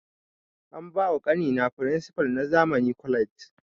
A ba wa ƙani na firinsipal na zamani college